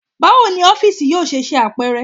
Bawo ni ọfiisi yoo ṣe ṣe apẹrẹ?